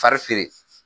Fa feere